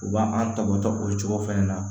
U b'an tabɔ tɔ o cogo fana na